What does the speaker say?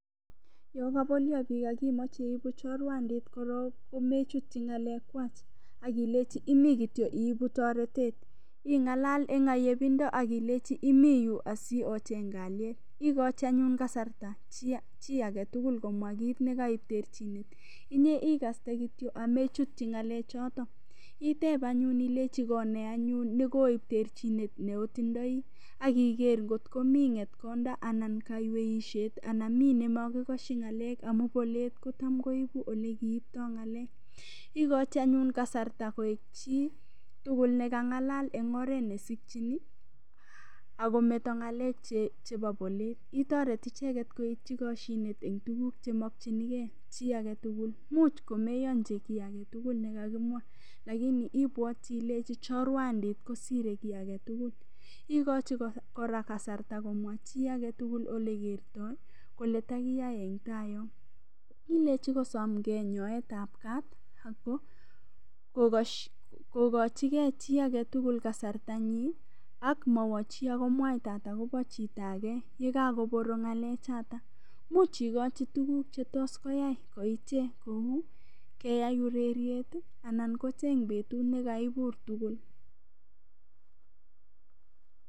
Yo kabolyo biik akimoche iibu chorwandit korok komechutyi ng'alakwach akilechi imi kityo iibu toretet ing'alal eng' ayepindo akilechi imiyu asiocheny kalyet ikochi anyun kasarta chi agetugul komwa kiit nekaiterchin inye ikaste kityo amechityi ng'alechoto iteb anyun ilechi kone anyun nekoib terchinet neotindoi akiker ngot komi ng'etkonda anan kaiweishet anan mi nemakikoshi ng'alek amun bolet kocham koibu ole kiiptoi ng'alek ikochi nyun kasarta koek chitugul nekang'alal eng' oret neaikchini akometo ng'alek chebo bolet itoret icheget koityi koshinet eng tuguk chemokchingei chi agetugul much komeyonji kii agetugul nekakimwa lakini ibwotchi ilechi chorwandit kosirei kii agetugul ikochi kora kasarta komwa chi agetugul olekertoi koletakiyai eng' tai yo ilechi kosomgei nyoetab kat akokochigei chi agetugul kasartanyin akmawo chi akomwaitatat akobo chito age yekaborok ng'alechato much ikochi tukuk chetos koyai koiche kou koyai ureryet anan kocheny betut nekaibur tugul